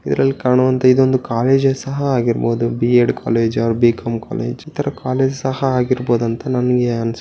ಇದರಲ್ಲಿ ಕಾಣು ಅಂತ ಇದ್ದಲ್ಲಿ ಕಾಲೇಜು ಸಹ ಹಾಗಿರಬಹುದು ಬಿಎಡ್ ಕಾಲೇಜ್ ಬಿಎ ಕಾಲೇಜ್ ಇತರ ಕಾಲೇಜ್ ಸಹ ಆಗಿರಬಹುದು ಅಂತ ನನಗೆ ಅನ್ಸುತ್ತೆ.